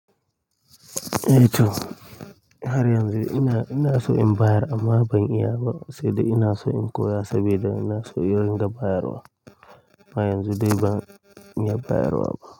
Eh to, har yan zun ina, ina so in bayar amma ban iya ba, sai dai ina so in koya sabida ina so in ringa bayarwa. Ma yan zude ban iya bayarwa ba.